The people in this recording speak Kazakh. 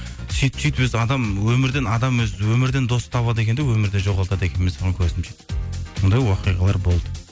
сөйтіп сөйтіп өзі адам өмірден адам өзі өмірден дос табады екен де өмірде жоғалтады екен мен соған көзім жетті сондай оқиғалар болды